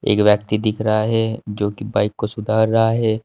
एक व्यक्ति दिख रहा है जोकि बाइक को सुधार रहा है।